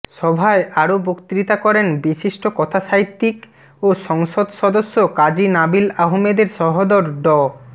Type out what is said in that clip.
সভায় আরও বক্তৃতা করেন বিশিষ্ট কথাসাহিত্যিক ও সংসদ সদস্য কাজী নাবিল আহমেদের সহোদর ড